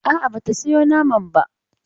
A'a, ba ta sayo naman ba.